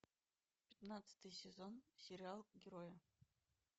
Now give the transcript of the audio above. пятнадцатый сезон сериал герои